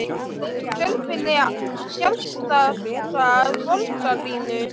Er einhver þörf fyrir sérstaka borgarlínu?